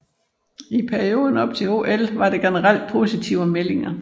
I perioden op til OL var der generelt positive meldinger